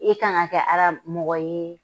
E kan ka kɛ Ala mɔgɔ yee